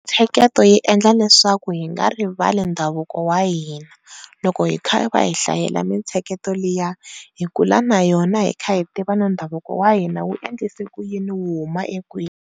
Mintsheketo yi endla leswaku hi nga rivali ndhavuko wa hina loko hi kha va hi hlayela mintsheketo liya hi kula na yona hi kha hi yi tiva na ndhavuko wa hina wu endlisa ku yini u huma ekwini.